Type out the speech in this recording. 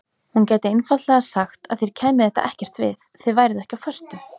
Hún gæti einfaldlega sagt að þér kæmi þetta ekkert við, þið væruð ekki á föstu.